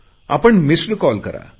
आपण missed call करा